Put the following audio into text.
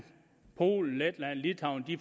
polen letland og litauen